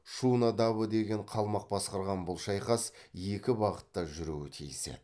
шуна дабо деген қалмақ басқарған бұл шайқас екі бағытта жүруі тиіс еді